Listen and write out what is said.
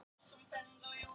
Fór á puttanum á landsþing